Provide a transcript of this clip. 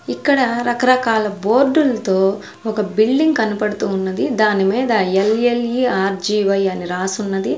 ఇక్కడ రకరకాల బోర్డుల్తో ఒక బిల్డింగ్ కనపడ్తూ ఉన్నది దానిమీద ఎల్_ఎల్_ఇ_ఆర్_జి_వై అని రాసున్నది.